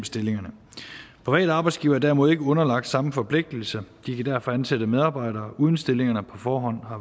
stillingerne private arbejdsgivere er derimod ikke underlagt samme forpligtelse de kan derfor ansætte medarbejdere uden stillingerne på forhånd har